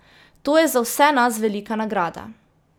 To je za vse nas velika nagrada.